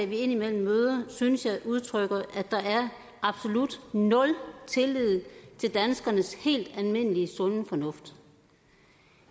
vi indimellem møder synes jeg udtrykker at der er absolut nul tillid til danskernes helt almindelige sunde fornuft